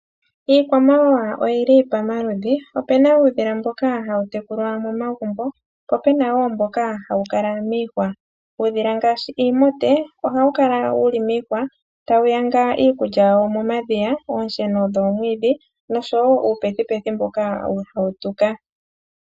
Iikwamawawa oyili pomaludhi, opuna uudhila mboka hawu tekulwa momagumbo po puna woo mboka hawu kala miihwa. Uudhila ngaashi iimute ohawu kala tawu nyanga iikulya yawo momadhiya iisheno woomwiidhi nosho woo uupethupethu mboka hawu kala tawu tuka.